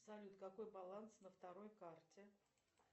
салют какой баланс на второй карте